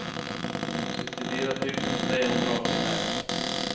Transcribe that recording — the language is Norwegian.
syttifire tusen tre hundre og åttiseks